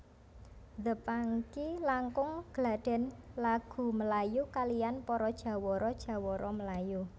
The Pangky langkung gladhen lagu melayu kaliyan para jawara jawara melayu